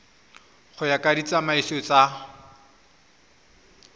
go ya ka ditsamaiso tsa